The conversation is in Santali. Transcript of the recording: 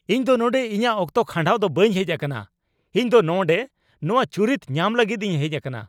ᱤᱧ ᱫᱚ ᱱᱚᱸᱰᱮ ᱤᱧᱟᱹᱜ ᱚᱠᱛᱚ ᱠᱷᱟᱸᱰᱟᱣ ᱫᱚ ᱵᱟᱹᱧ ᱦᱮᱡ ᱟᱠᱟᱱᱟ ! ᱤᱧ ᱫᱚ ᱱᱚᱸᱰᱮ ᱱᱚᱶᱟ ᱪᱩᱨᱤᱛ ᱧᱟᱢ ᱞᱟᱹᱜᱤᱫ ᱤᱧ ᱦᱮᱡ ᱟᱠᱟᱱᱟ ᱾